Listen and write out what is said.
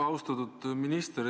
Austatud minister!